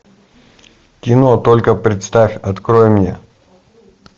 кино только представь открой мне